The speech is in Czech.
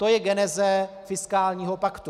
To je geneze fiskálního paktu.